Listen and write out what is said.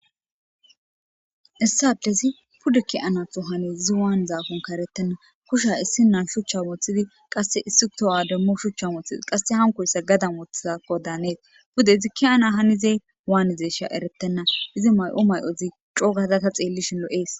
issi adezi puddeki ana to hani zi waan zaakon karettenna kusha issi nan shuchcha moothidi qasse issi to7ademmo shuchcha mothidi qasse hankoyssa gadan wothazakko daanees pude izikki ana hanizey waanizesha eretenna izi may7o may7ozi cogazata xeellishin lo7ees